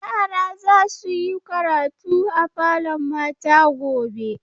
Yara za su yi karatu a falon mata gobe.